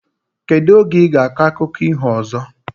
Kedu oge iga akọ akụkọ iho ozo?